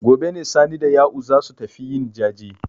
Gobe ne Sani da Ya'u za su tafi yin jaje.